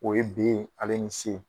O ye B ale ni C